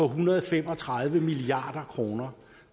hundrede og fem og tredive milliard kroner